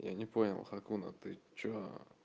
я не понял хакуна ты что